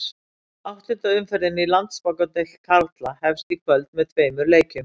Áttunda umferðin í Landsbankadeild karla hefst í kvöld með tveimur leikjum.